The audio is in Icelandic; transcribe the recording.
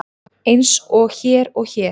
Eins og hér og hér.